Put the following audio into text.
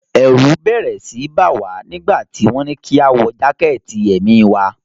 Ẹ̀rù bẹ́rẹ́ síi bá wa nígbà tí wọ́n ní kí a wọ jákẹ̀tì èmi wa.